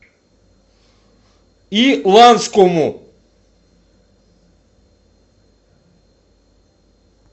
иланскому